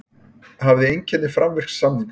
Hafði einkenni framvirks samnings